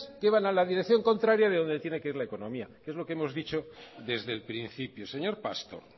que van en la dirección contraria de donde tiene que ir la economía que es lo que hemos dicho desde el principio señor pastor